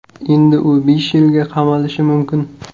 Endi u besh yilga qamalishi mumkin.